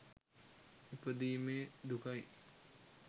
ඉපදීමේ දුකයි.